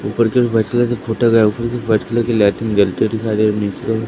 ऊपर की ओर व्हाईट कलर से पोटा गया है ऊपर व्हाईट कलर की लाइट जलती हुई दिखाई दे रही मुझको।